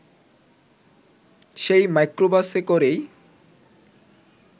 সেই মাইক্রোবাসে করেই